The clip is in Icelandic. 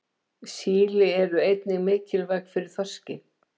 Síli eru einnig mikilvæg fyrir þorskinn.